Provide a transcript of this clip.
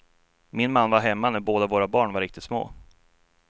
Min man var hemma när båda våra barn var riktigt små.